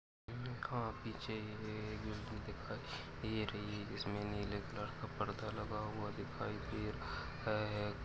लिखा पीछे एक बिल्डिंग दिखाई दे रही है जिसमे नीले कलर का पड़दा लगा हुआ दिखाई दे रहा है।